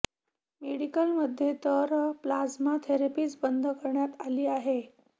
मेडिकलमध्ये तर प्लाझ्मा थेरपीच बंद करण्यात आली आहे